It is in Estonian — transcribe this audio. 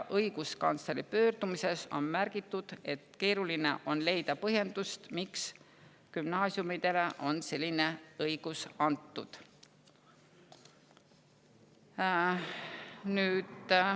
Õiguskantsleri pöördumises on märgitud, et keeruline on leida põhjendust, miks gümnaasiumidele on selline õigus antud.